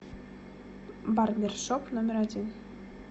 барбершоп номер один